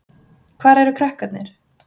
Hvar eru krakkarnir?